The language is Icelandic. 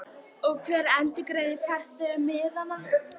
Karen: Og hver endurgreiðir farþegunum miðana?